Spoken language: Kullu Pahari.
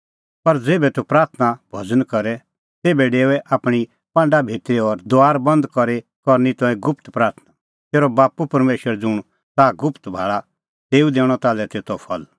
पर ज़ेभै तूह प्राथणां भज़न करे तेभै डेओऐ आपणीं पांडा भितरी और दुआर बंद करी करै करनी तंऐं गुप्त प्राथणां तेरअ बाप्पू परमेशर ज़ुंण ताह गुप्त भाल़ा तेऊ दैणअ ताल्है तेतो फल